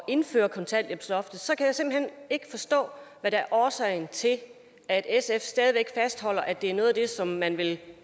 indført kontanthjælpsloftet så kan jeg simpelt hen ikke forstå hvad der er årsagen til at sf stadig væk fastholder at det er noget af det som man vil